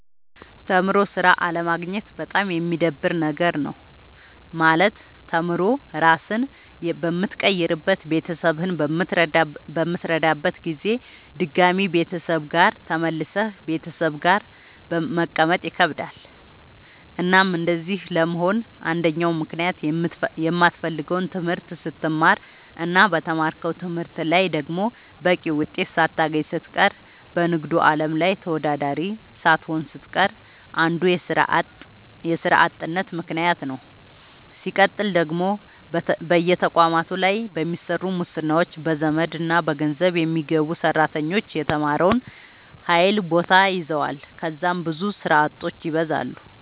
ተምሮ ስራ አለማግኘት በጣም የሚደብር ነገር ነው። ማለት ተምሮ ራስህን በምትቀይርበት ቤተሰብህን በምትረዳበት ጊዜ ድጋሚ ቤተሰብ ጋር ተመልሰህ ቤተሰብ ጋር መቀመጥ ይከብዳል። እናም እንደዚህ ለመሆን አንደኛው ምክንያት የማትፈልገውን ትምህርት ስትማር እና በተማርከው ትምህርት ላይ ደግሞ በቂ ውጤት ሳታገኝ ስትቀር በንግዱ አለም ላይ ተወዳዳሪ ሳትሆን ስትቀር አንዱ የስራ አጥነት ምከንያት ነዉ። ስቀጥል ደግሞ በየተቋማቱ ላይ በሚሰሩ ሙስናዎች፣ በዘመድና በገንዘብ የሚገቡ ሰራተኞች የተማረውን ኃይል ቦታ ይዘዋል ከዛም ብዙ ስራ አጦች ይበዛሉ።